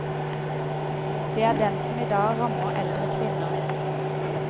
Det er den som i dag rammer eldre kvinner.